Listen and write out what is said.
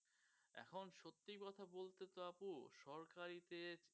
এখন সত্যি কথা বলতেতো আপু সরকারি তে